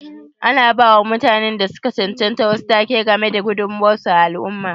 Ana ba wa mutanen da su ka chanchanta wasu take ga me da gudummawar su a al'umma.